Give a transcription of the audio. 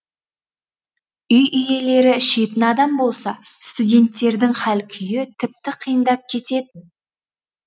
үй иелері ішетін адамдар болса студенттердің хал күйі тіпті қиындап кетед